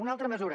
una altra mesura